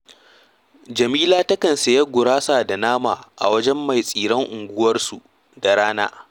Jamila takan sayi gurasa da nama a wajen mai tsiren unguwarsu da rana